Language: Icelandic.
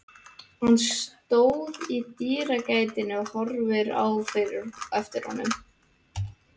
Hann stóð í dyragættinni og horfði á eftir honum.